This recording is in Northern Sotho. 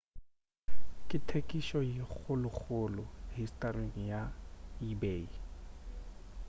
ke thekišo ye kgolokgolo historing ya ebay